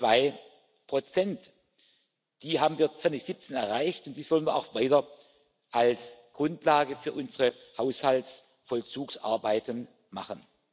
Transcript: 2 Die haben wir 2017 erreicht, und dies wollen wir auch weiter zur Grundlage für unsere Haushaltsvollzugsarbeiten machen.